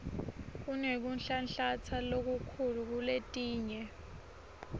kunekunhlanhlatsa lokukhulu kuletinye